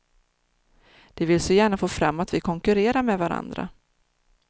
De vill så gärna få fram att vi konkurrerar med varandra.